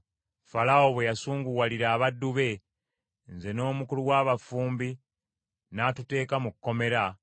Falaawo bwe yasunguwalira abaddu be, nze n’omukulu w’abafumbi n’atuteeka mu kkomera,